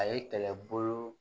A ye kɛlɛbolo